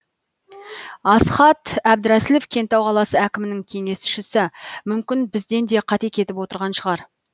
асқат әбдірәсілов кентау қаласы әкімінің кеңесшісі мүмкін бізден де қате кетіп отырған шығар